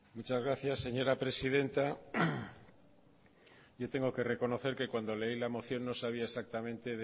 muchas gracias señora presidenta yo tengo que reconocer que cuando leí la moción no sabía exactamente